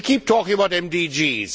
We keep talking about MDGs.